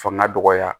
Fanga dɔgɔya